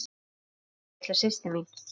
Elsku, litla systir mín.